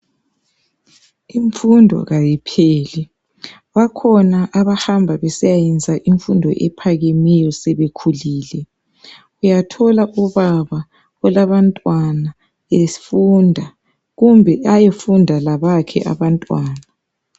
Imfundo kayipheli bakhona abahamba besiyayenza imfundo ephakemeyo sebekhulile uyathola ubaba olabantwana efunda kumbe ayefunda labakhe abantwana.